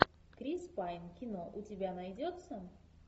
крис пайн кино у тебя найдется